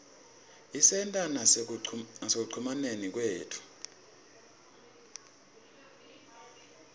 isebenta nasekucumaneni kwethu